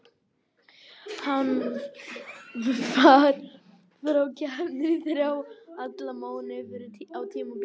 Hann var frá keppni í þrjá og hálfan mánuð fyrr á tímabilinu.